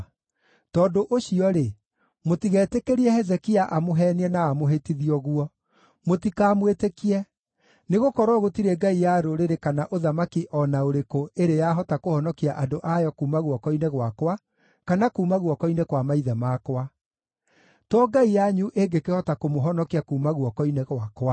Tondũ ũcio-rĩ, mũtigetĩkĩrie Hezekia amũheenie na amũhĩtithie ũguo. Mũtikamwĩtĩkie, nĩgũkorwo gũtirĩ ngai ya rũrĩrĩ kana ũthamaki o na ũrĩkũ ĩrĩ yahota kũhonokia andũ ayo kuuma guoko-inĩ gwakwa kana kuuma guoko-inĩ kwa maithe makwa! To ngai yanyu ĩngĩkĩhota kũmũhonokia kuuma guoko-inĩ gwakwa!”